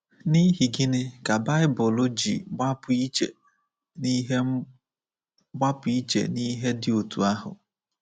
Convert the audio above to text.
N’ihi gịnị ka baịbụl ji gbapụ iche n’ihe gbapụ iche n’ihe dị otú ahụ?